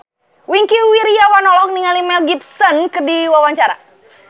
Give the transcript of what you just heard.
Wingky Wiryawan olohok ningali Mel Gibson keur diwawancara